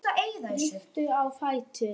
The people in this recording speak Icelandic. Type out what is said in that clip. Rýkur á fætur.